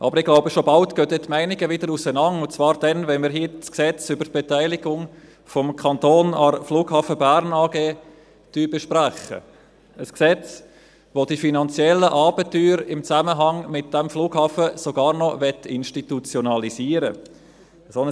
Aber ich glaube, schon bald gehen die Meinungen wieder auseinander, und zwar dann, wenn wir hier das Gesetz über die Beteiligung des Kantons an der Flughafen Bern AG (BFBG) besprechen werden – ein Gesetz, welches die finanziellen Abenteuer im Zusammenhang mit diesem Flughafen sogar noch institutionalisieren will.